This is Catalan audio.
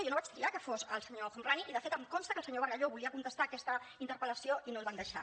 jo no vaig triar que fos el senyor el homrani i de fet em consta que el senyor bargalló volia contestar aquesta interpel·lació i no el van deixar